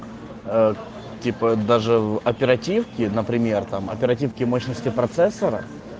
ээ типа даже в оперативке например там оперативки мощности процессора